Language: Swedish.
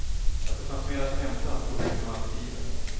Att det fanns mer att hämta stod utom allt tvivel.